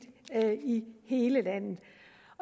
i hele landet